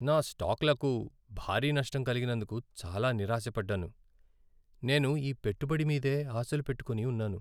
నా స్టాక్లకు భారీ నష్టం కలిగినందుకు చాలా నిరాశ పడ్డాను. నేను ఈ పెట్టుబడి మీదే ఆశలు పెట్టుకుని ఉన్నాను.